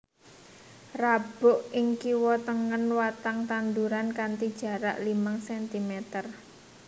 Rabuk ing kiwa tengen watang tanduran kanthi jarak limang centimeter